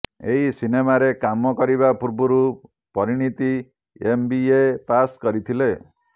ଏହି ସିନେମାରେ କାମ କରିବା ପୂର୍ବରୁ Parineeti M B A pass କରିଥିଲେ